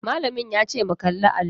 Malamin yace mu kalli allo.